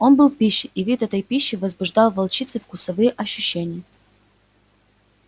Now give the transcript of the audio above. он был пищей и вид этой пищи возбуждал в волчице вкусовые ощущения